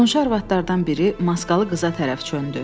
Qonşu arvadlardan biri maskalı qıza tərəf döndü.